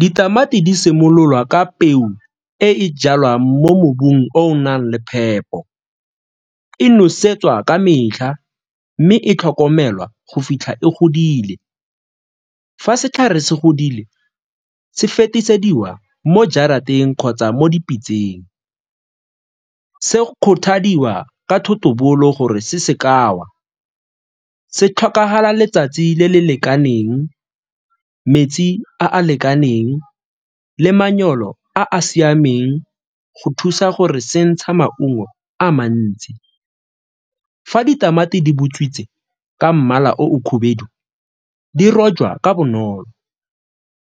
Ditamati di simololwa ka peu e e jalwang mo mobung o o nang le phepo, e nosetswa ka metlha mme e tlhokomelwa go fitlha e godile. Fa setlhare se godile se fetisediwa mo jarateng kgotsa mo dipitsaneng, se kgothalediwa ka thotobolo gore se se ka wa, se tlhokagala letsatsi le le lekaneng, metsi a a lekaneng le manyolo a a siameng go thusa gore se ntsha maungo a mantsi. Fa ditamati di butswitse ka mmala o di rojwa ka bonolo,